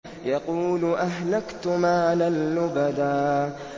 يَقُولُ أَهْلَكْتُ مَالًا لُّبَدًا